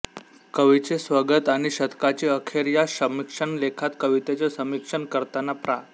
कवीचे स्वगत आणि शतकाची अखेर या समीक्षण लेखात कवितेचे समीक्षण करताना प्रा